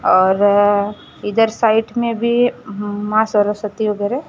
और अ इधर साइड में भी मां सरस्वती वगैरे --